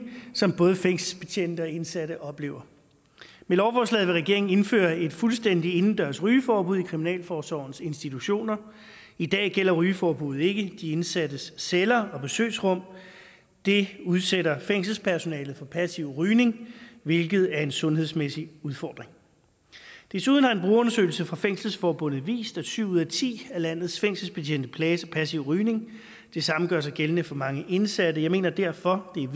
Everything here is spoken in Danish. som både fængselsbetjente og indsatte oplever med lovforslaget vil regeringen indføre et fuldstændigt indendørs rygeforbud i kriminalforsorgens institutioner i dag gælder rygeforbuddet ikke de indsattes celler og besøgsrum det udsætter fængselspersonalet for passiv rygning hvilket er en sundhedsmæssig udfordring desuden har en brugerundersøgelse fra fængselsforbundet vist at syv ud af ti af landets fængselsbetjente plages af passiv rygning det samme gør sig gældende for mange indsatte jeg mener derfor det er